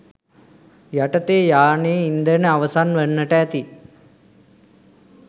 යටතේ යානයේ ඉන්ධන අවසන් වන්නට ඇති